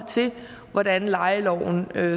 til hvordan lejeloven